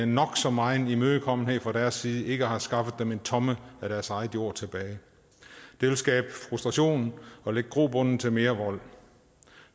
nok så megen imødekommenhed fra deres side ikke har skaffet dem en tomme af deres egen jord tilbage det vil skabe frustration og lægge grobund til mere vold